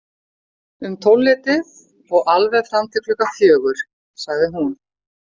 Um tólfleytið og alveg fram til klukkan fjögur, sagði hún.